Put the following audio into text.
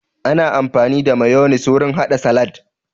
Ana amfani da mayonis wurin haɗa salat